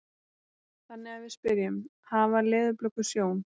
Þannig að við spyrjum: Hafa leðurblökur sjón?